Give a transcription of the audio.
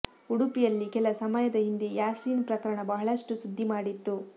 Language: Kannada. ಉಡುಪಿಯಲ್ಲಿ ಕೆಲ ಸಮಯದ ಹಿಂದೆ ಯಾಸೀನ್ ಪ್ರಕರಣ ಬಹಳಷ್ಟು ಸುದ್ದಿ ಮಾಡಿತ್ತು